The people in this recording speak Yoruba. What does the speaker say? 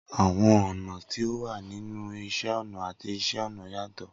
Awọn ọna ti o wa ninu Iṣẹ ọna ati Iṣẹ-ọnà yatọ